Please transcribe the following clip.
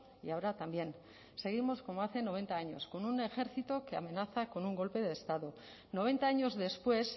y ahora también seguimos como hace noventa años con un ejército que amenaza con un golpe de estado noventa años después